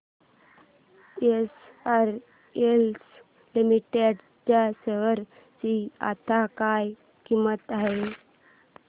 SRS limited च्या share ची आता काय किंमत आहे